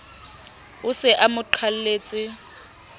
o se a mo qalletse